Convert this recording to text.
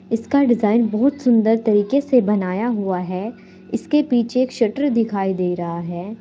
इसका डिजाइन बहुत सुंदर तरीके से बनाया हुआ है इसके पीछे एक शटर दिखाई दे रहा है।